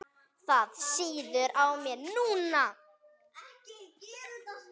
Það sýður á mér núna.